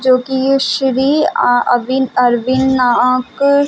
--जो की ये श्री अ-अविन-अरविंद नाक --